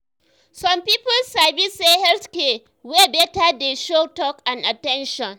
some people sabi say health care wey beta dey show talk and at ten tion.